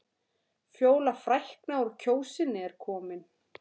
Fjóla frækna úr Kjósinni er komin.